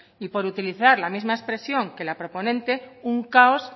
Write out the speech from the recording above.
y por utilizar las misma expresión que las proponente un caos